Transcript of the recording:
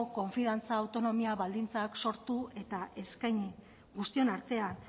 konfiantza autonomia baldintzak sortu eta eskaini guztion artean